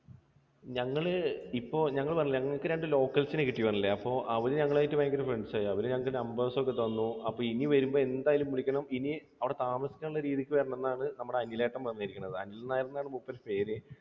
ഞങ്ങൾ ഇപ്പോൾ ഞങ്ങൾ പറഞ്ഞില്ലേ ഞങ്ങൾക്ക് രണ്ട് locals നെ കിട്ടി എന്ന് പറഞ്ഞില്ലേ? അവർ ഞങ്ങളുമായിട്ട് ഭയങ്കര friends ആയി. അവർ ഞങ്ങൾക്ക് numbers ഒക്കെ തന്നു. അപ്പോൾ ഇനി വരുമ്പോൾ എന്തായാലും വിളിക്കണം. ഇനി അവിടെ താമസിക്കാനുള്ള രീതിക്ക് വരണം എന്നാണ് നമ്മുടെ അനിലേട്ടൻ പറഞ്ഞിരിക്കുന്നത്. അനിൽ നായർ എന്നാണ് മൂപ്പരുടെ പേര്.